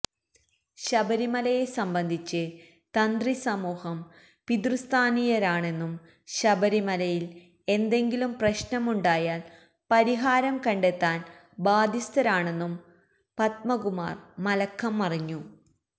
ശബരിമലയെ സംബന്ധിച്ച് തന്ത്രി സമൂഹം പിതൃസ്ഥാനീയരാണെന്നും ശബരിമലയില് എന്തെങ്കിലും പ്രശ്നമുണ്ടായാല് പരിഹാരം കണ്ടെത്താന് ബാധ്യസ്ഥരാണെന്നും പദ്മകുമാര് മലക്കം മറിഞ്ഞു